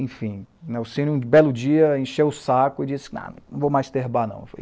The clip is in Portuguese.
Enfim, o Nelcínio, um belo dia, encheu o saco e disse, não vou mais ter bar não.